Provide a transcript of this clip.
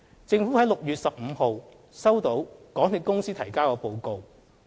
政府在6月15日收到港鐵公司提交的報告。